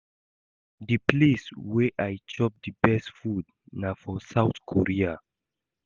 The place wey I chop the best food na for South Korea